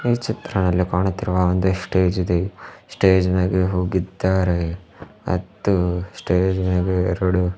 ಈ ಚಿತ್ರದಲ್ಲಿ ಕಾಣುತ್ತಿರುವ ಒಂದು ಸ್ಟೇಜ್ ಇದೆ ಸ್ಟೇಜ್ ಮೇಲೆ ಹೋಗಿದ್ದಾರೆ ಮತ್ತು ಸ್ಟೇಜ್ ಮೇಲೆ ಎರಡು--